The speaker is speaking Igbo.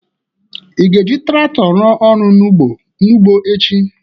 Ị ga-eji trakto ruo ọrụ n'ụgbọ echi?